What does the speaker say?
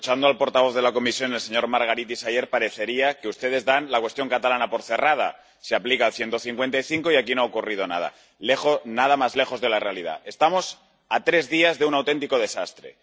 Escuchando al portavoz de la Comisión —el señor Margaritis—, ayer, parecería que ustedes dan la cuestión catalana por cerrada se aplica el 155 y aquí no ha ocurrido nada. Nada más lejos de la realidad estamos a tres días de un auténtico desastre.